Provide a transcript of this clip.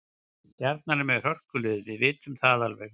Stjarnan er með hörkulið, við vitum það alveg.